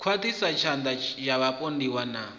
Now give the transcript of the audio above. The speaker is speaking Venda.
khwaṱhiswa tshatha ya vhapondiwa na